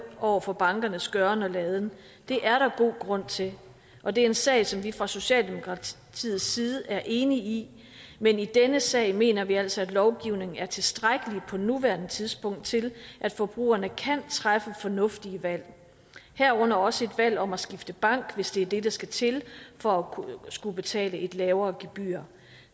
over for bankernes gøren og laden det er der god grund til og det er en sag som vi fra socialdemokratiets side er enige i men i denne sag mener vi altså at lovgivningen er tilstrækkelig på nuværende tidspunkt til at forbrugerne kan træffe fornuftige valg herunder også et valg om at skifte bank hvis det er det der skal til for at skulle betale et lavere gebyr